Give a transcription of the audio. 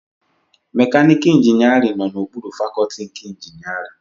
Mekaniika ịnjinierịn nọ na okpuru fakọtị nke ịnjinierịn